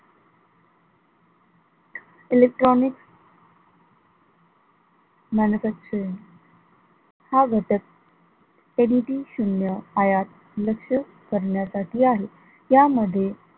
electronics, manufacturing हा घटक समिती शून्य आयात लक्ष करण्यासाठी आहे, त्यामध्ये